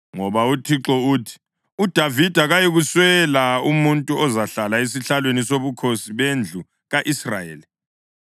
Ngoba uThixo uthi, ‘UDavida kayikuswela umuntu ozahlala esihlalweni sobukhosi bendlu ka-Israyeli,